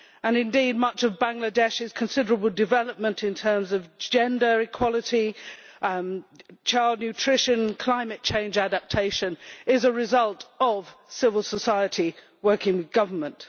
Indeed, much of Bangladesh's considerable development in terms of gender equality, child nutrition and climate change adaptation is a result of civil society working with government.